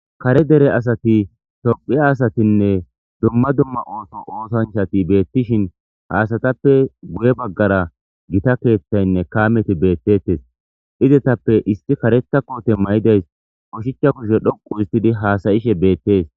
Kaare deere asati tophphiya asatine dumma dumma oththo othanchati betishin ha asatappe guye baggara gita keththayne kaameti bettetes izetape issi karetha kote mayiday ushshacha kushe dhoqqu histidi hasa'she bettes.